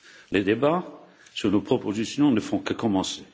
Les débats sur nos propositions ne font que commencer.